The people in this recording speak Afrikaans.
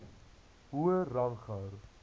hoër rang gehou